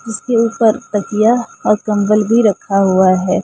इसके ऊपर तकिया और कंबल भी रखा हुआ है।